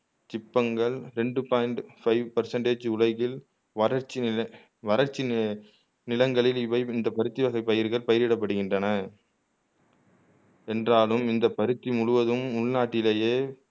சிப்பங்கள் ரெண்டு point five percentage உலகில் வறட்சி நில வறட்சி நி நிலங்களில் இவை இந்த பருத்தி வகை பயிர்கள் பயிரிடப்படுகின்றன என்றாலும் இந்த பருத்தி முழுவதும் உள்நாட்டிலேயே